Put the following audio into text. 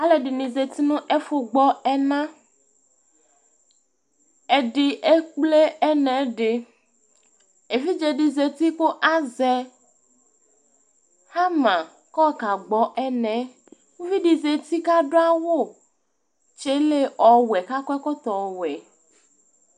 aluɛdini zatinu ɛfu gbɔ ɛna ɛdi ekple ɛnɛdi evidzedi zati ku azɛ ɦama kɔkagbɔ ɛnɛ uvi di zati kaduawu tsele ɔwɛ kakɔ ɛkɔtɔ ɔwɛ